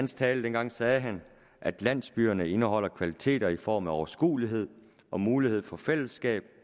tale dengang sagde han at landsbyerne indeholder kvaliteter i form af overskuelighed og mulighed for fællesskab